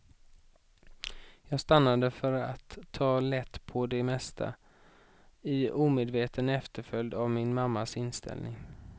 Jag stannade för att ta lätt på det mesta, i omedveten efterföljd av min mammas inställning.